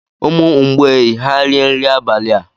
Umu mgbei ha rie nri abalị a?